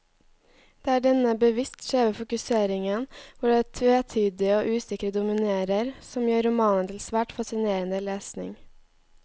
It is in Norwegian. Det er denne bevisst skjeve fokuseringen, hvor det tvetydige og usikre dominerer, som gjør romanen til svært fascinerende lesning.